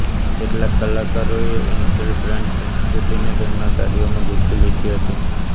કેટલાક કલાકારોએ Intel brand સંસ્કૃતિને તેમનાં કાર્યોમાં ગૂંથી લીધી હતી